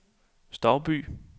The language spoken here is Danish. Stouby